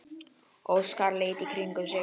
Óskar leit í kringum sig.